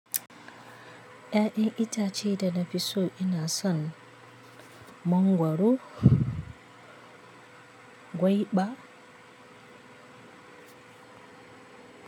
Ya'yan itace da na fi so ina son mangwaro, gwaiba.